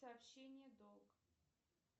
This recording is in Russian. сообщение долг